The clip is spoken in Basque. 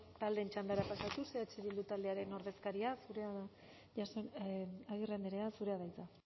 taldeen txandara pasatuz eh bildu taldearen ordezkaria agirre andrea zurea da hitza